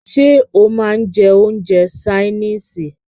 Ṣé o máà ń jẹ́ oúnjẹ ṣaínìisì?